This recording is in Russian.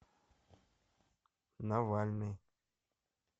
навальный